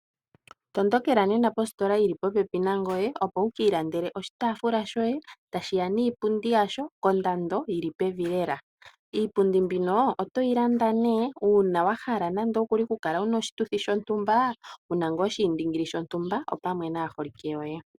Tondokela nena positola yi li popepi nangoye, opo wu ka ilandele oshitaafula shoye, tashi ya niipundi yasho kondando yi li pevi lela. Iipundi mbino otoyi landa nduno uuna wa hala okukala wu na oshituthi shontumba, wu na ngaa oshiindingili shontumba, opamwe naaholike yoye.